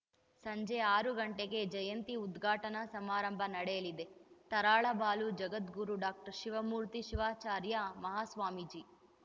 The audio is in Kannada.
ಸಂಜೆ ಆರು ಗಂಟೆಗೆ ಜಯಂತಿ ಉದ್ಘಾಟನಾ ಸಮಾರಂಭ ನಡೆಯಲಿದೆ ತರಳಬಾಲು ಜಗದ್ಗುರು ಡಾಕ್ಟರ್ ಶಿವಮೂರ್ತಿ ಶಿವಾಚಾರ್ಯ ಮಹಾಸ್ವಾಮೀಜಿ